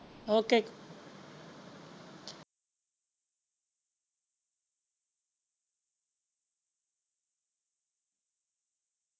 Okay.